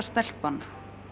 stelpan